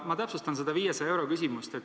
Ma täpsustan seda 500 euro küsimust.